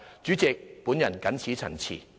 主席，我謹此陳辭。